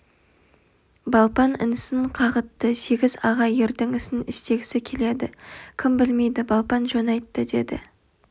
балпан інісін қағытты сегіз аға ердің ісін істегісі келеді кім білмейді балпан жөн айтты деді